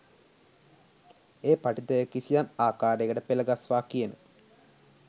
ඒ පඨිතය කිසියම් ආකාරයකට පෙළගස්වා කියන